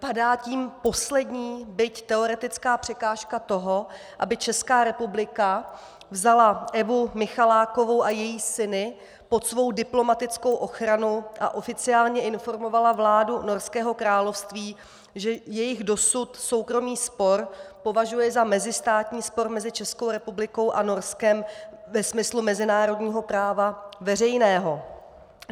Padá tím poslední, byť teoretická překážka toho, aby Česká republika vzala Evu Michalákovou a její syny pod svou diplomatickou ochranu a oficiálně informovala vládu Norského království, že jejich dosud soukromý spor považuje za mezistátní spor mezi Českou republikou a Norskem ve smyslu mezinárodního práva veřejného.